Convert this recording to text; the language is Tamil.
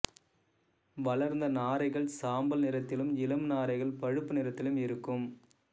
வளர்ந்த நாரைகள் சாம்பல் நிறத்திலும் இளம் நாரைகள் பழுப்பு நிறத்திலும் இருக்கும்